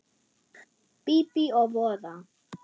Bíbí og voða.